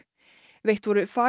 veitt voru